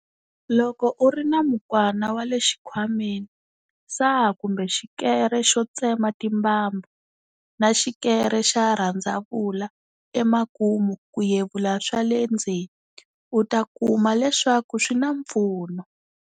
Loko u ri na mukwana wa le xikhwameni, saha kumbe xikere xo tsema timbambu, na xikere xa rhandzavula emakumu ku yevula swa le ndzeni, u ta kuma leswaku swi na mpfuno.